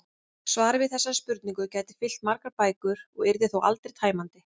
Svarið við þessari spurningu gæti fyllt margar bækur og yrði þó aldrei tæmandi.